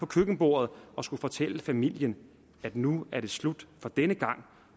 køkkenbordet og skulle fortælle familien at nu er det slut for denne gang